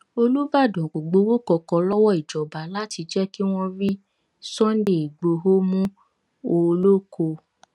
olùbàdàn kò gbowó kankan lọwọ ìjọba láti jẹ kí wọn rí sunday igbodò mú ooloko